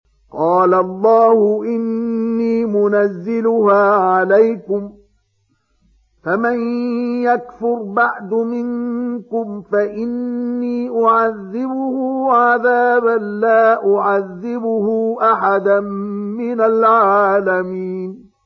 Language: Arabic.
قَالَ اللَّهُ إِنِّي مُنَزِّلُهَا عَلَيْكُمْ ۖ فَمَن يَكْفُرْ بَعْدُ مِنكُمْ فَإِنِّي أُعَذِّبُهُ عَذَابًا لَّا أُعَذِّبُهُ أَحَدًا مِّنَ الْعَالَمِينَ